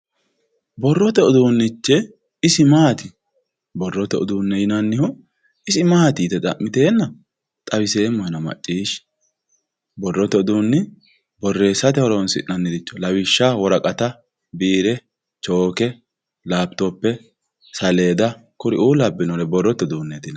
borrote uduunnichi isi maati borrote uduunne yinannihu isi maati yite xa'miteenna xawiseemmohena maccishshi borreessate horoonsi'nannire lawishshaho woraqata biire chooke lapitope saleeda kuriuu labbinnore borrote uduunneeti yinanni